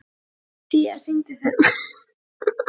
Tía, syngdu fyrir mig „Betri tíð“.